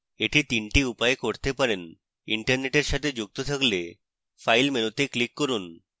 এটি 3 the উপায়ে করতে পারেন internet সাথে যুক্ত থাকলে file মেনুতে click করুন